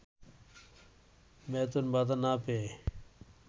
বেতন ভাতা না পেয়ে